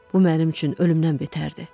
Bu mənim üçün ölümdən betərdi.